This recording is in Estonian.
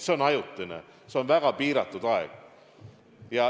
See on ajutine, see on väga piiratud aeg.